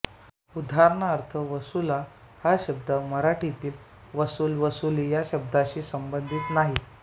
उदाहरणार्थ वसूला हा शब्द प्रमाण मराठीतील वसूल वसूली या शब्दाशी संबंधित नाही